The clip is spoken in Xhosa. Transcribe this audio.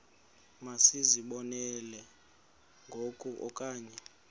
masizibonelele ngoku okanye